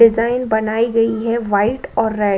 design बनाई गई है व्हाइट और रेड --